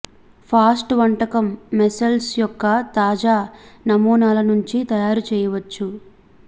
fast వంటకం mussels యొక్క తాజా నమూనాల నుంచి తయారు చేయవచ్చు